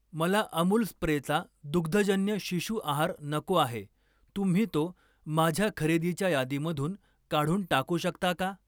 मला अमूल स्प्रेचा दुग्धजन्य शिशु आहार नको आहे, तुम्ही तो माझ्या खरेदीच्या यादीमधून काढून टाकू शकता का?